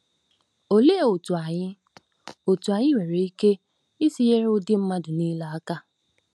Olee otú anyị otú anyị nwere ike isi nyere ụdị mmadụ niile aka?